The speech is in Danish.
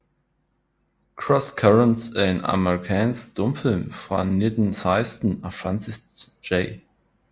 Cross Currents er en amerikansk stumfilm fra 1916 af Francis J